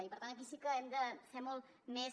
i per tant aquí sí que hem de ser molt més